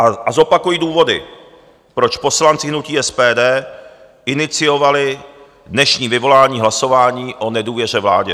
A zopakuji důvody, proč poslanci hnutí SPD iniciovali dnešní vyvolání hlasování o nedůvěře vládě.